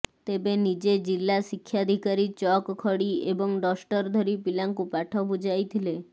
ତେବେ ନିଜେ ଜିଲ୍ଲା ଶିକ୍ଷାଧିକାରୀ ଚକ୍ ଖଡ଼ି ଏବଂ ଡଷ୍ଟର ଧରି ପିଲାଙ୍କୁ ପାଠ ବୁଜାଇଥିଲେ